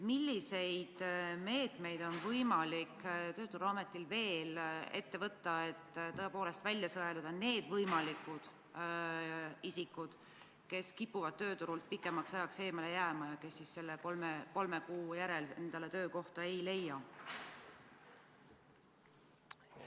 Milliseid meetmeid on võimalik töötukassal veel ette võtta, et välja sõeluda need võimalikud isikud, kes kipuvad tööturult pikemaks ajaks eemale jääma ja kes ka kolme kuu järel endale töökohta ei leia?